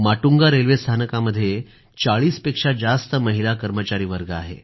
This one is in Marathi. माटुंगा रेल्वे स्थानकामध्ये 40 पेक्षा जास्त महिला कर्मचारी वर्ग आहे